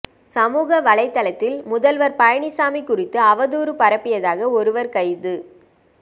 சமூக வலைத்தளத்தில் முதல்வர் பழனிசாமி குறித்து அவதூறு பரப்பியதாக ஒருவர் கைது